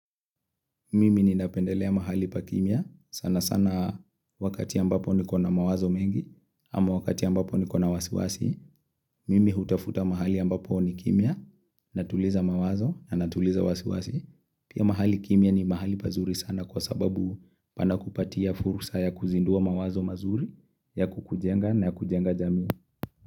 Mimi ninapendelea mahali pa kimya. Sana sana wakati ambapo nikona mawazo mengi ama wakati ambapo nikona wasiwasi. Mimi hutafuta mahali ambapo ni kimya natuliza mawazo na natuliza wasiwasi. Pia mahali kimya ni mahali pazuri sana kwa sababu panakupatia fursa ya kuzindua mawazo mazuri ya kukujenga na kujenga jamii.